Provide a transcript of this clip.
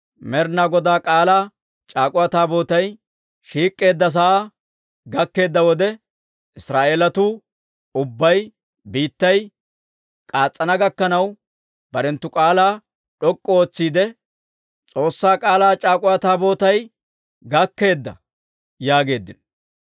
Med'inaa Godaa K'aalaa c'aak'uwa Taabootay shiik'k'eedda sa'aa gakkeedda wode, Israa'eelatuu ubbay biittay k'aas's'ana gakkanaw barenttu k'aalaa d'ok'k'u ootsiide, «S'oossaa K'aalaa c'aak'uwa Taabootay gakkeedda» yaageeddino.